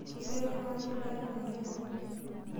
Ketii oltung'ani laing'orua tene?